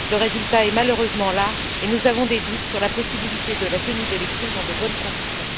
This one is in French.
Le résultat est malheureusement là et nous avons des doutes sur la possibilité de la tenue d'élections dans de bonnes conditions.